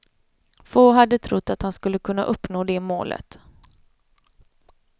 Få hade trott att han skulle kunna uppnå det målet.